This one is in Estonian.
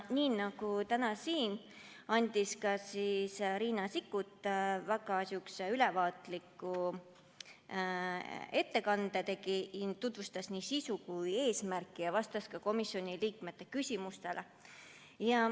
Nii nagu täna siin, tegi ka komisjonis Riina Sikkut väga ülevaatliku ettekande, tutvustades nii sisu kui ka eesmärki, ja vastas ka komisjoni liikmete küsimustele.